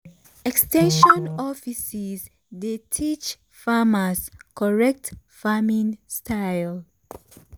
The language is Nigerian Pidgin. ex ten sion offices dey teach farmers correct farming style.